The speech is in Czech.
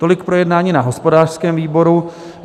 Tolik projednání na hospodářském výboru.